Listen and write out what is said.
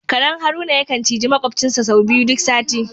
Karen Haruna ya kan ciji maƙwabcinsa sau biyu duk sati.